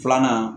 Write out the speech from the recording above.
Filanan